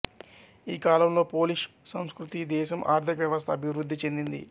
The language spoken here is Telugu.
ఈ కాలంలో పోలిష్ సంస్కృతి దేశం ఆర్థిక వ్యవస్థ అభివృద్ధి చెందింది